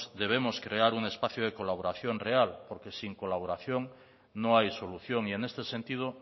debemos crear un espacio de colaboración real porque sin colaboración no hay solución y en este sentido